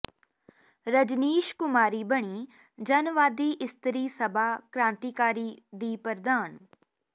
ਰਜਨੀਸ਼ ਕੁਮਾਰੀ ਬਣੀ ਜਨਵਾਦੀ ਇਸਤਰੀ ਸਭਾ ਕ੍ਾਂਤੀਕਾਰੀ ਦੀ ਪ੍ਰਧਾਨ